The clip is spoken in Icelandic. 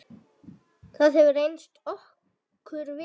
Það hefur reynst okkur vel.